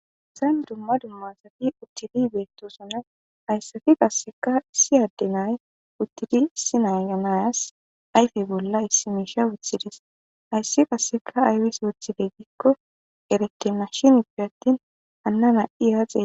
Hayisni duma duma asati utidi betosona haysati qaseka issi ade na'ayi utidi issi nayesi ayife bolla issi misha wothidi xelesi hayisi qasse ayibisi wothude gikko eretena shini gidope atini hana ha xelawus